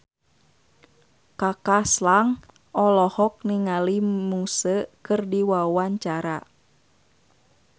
Kaka Slank olohok ningali Muse keur diwawancara